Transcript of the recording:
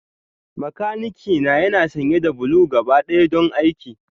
Makanikina yana sanye da blue gabaɗaya don aiki